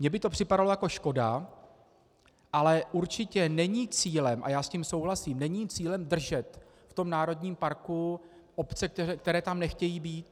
Mně by to připadalo jako škoda, ale určitě není cílem, a já s tím souhlasím, není cílem držet v tom národním parku obce, které tam nechtějí být.